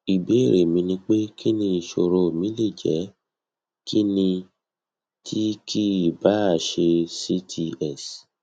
ibéèrè mi ni pé kíni isoro mi le jẹ kíni ti ki i ba se cts